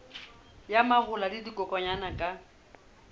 ya mahola le dikokwanyana ka